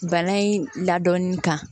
Bana in ladɔnni kan